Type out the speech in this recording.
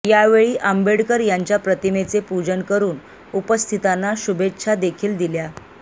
यावेळी आंबेडकर यांच्या प्रतिमेचे पूजन करून उपस्थिताना शुभेच्छा देखील दिल्या